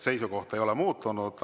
Seisukoht ei ole muutunud.